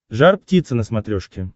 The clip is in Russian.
жар птица на смотрешке